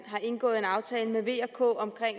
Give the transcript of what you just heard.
indgået en aftale med v og k om